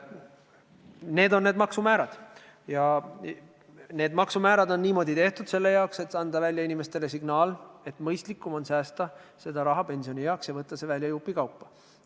Sellised on need maksumäärad ja need on niimoodi tehtud selleks, et anda inimestele signaal, et mõistlikum on koguda raha pensionieaks ja võtta see välja jupikaupa.